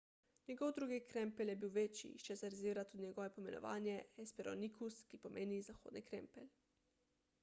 njegov drugi krempelj je bil večji iz česar izvira tudi njegovo poimenovanje hesperonychus ki pomeni zahodni krempelj